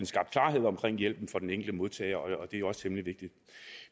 skabt klarhed omkring hjælpen for den enkelte modtager og det er også temmelig vigtigt